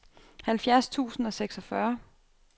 halvfjerds tusind og seksogfyrre